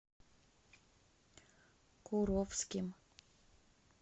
куровским